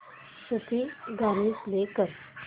सूफी गाणी प्ले कर